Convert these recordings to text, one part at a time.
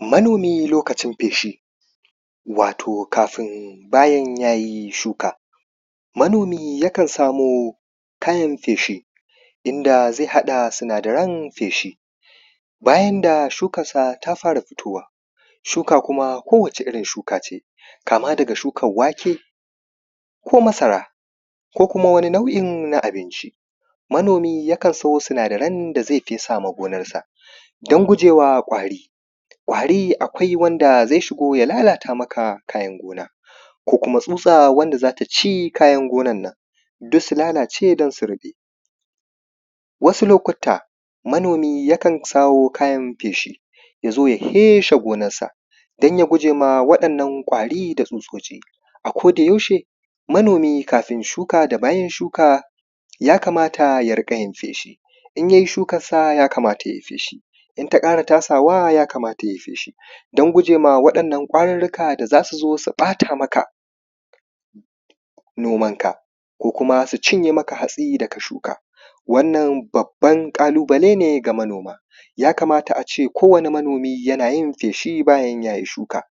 Mano:mi lokacin feshi, wato kafin bayan ya yi shuka, manomi yakan samo kayan feshi. Inda zai haɗa sinadaran feshi, bayan da shukamsa ta fara fitowa. Shuka kuma ko wata irin shuka ce, kama daga shukan wake ko masara ko kuma wani nau’i na abinci. Manomi yakan sajo sinadaran da zai fesawa gonarsa, don gujewa ƙwari. Ƙwari akwai wanda zai shigo ya lalata maka amfanin gona. Ko kuma tsutsa wanda za ta ci kayan gonan nan duk su lalace don su ruɓe. wasu lokutta manomi yakan sayo kayan feshi, ya zo ya feshe gonarsa don ya gujewa wannan kwari da tsutsotsi. A kodayaushe manomi kafin da bayan shuka yakamata ya riƙa yin feshi, in yai shukansa yakamata ya yi fedhi. Idan ta ƙara tasawa yakamata ya yi feshi, don gujewa waɗannan ƙwarirrika da za su zo su ɓata maka nomanka ko kuma hatsin da ka shuka. Wannan babban ƙalubale ne ga manomi. Yakamata a ce kowane manomi yana yi feshi bayan ya yi shuka.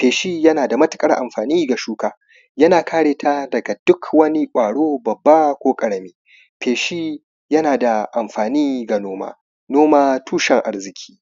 Feshi yana da matuƙar amfani ga shuka, yana kare ta daga ƙwaro babba ko ƙarami. Feshi yana da amfani ga noma, noma tuʃen arziki.